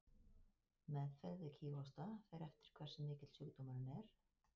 Meðferð við kíghósta fer eftir hversu mikill sjúkdómurinn er.